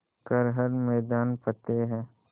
कर हर मैदान फ़तेह